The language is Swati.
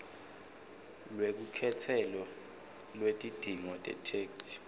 lwelukhetselo lwetidzingo tetheksthi